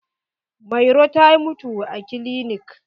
Mairo ta mutu a kilinik.